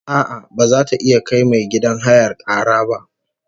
A'a, baza ta iya kai mai gidan hayar kara ba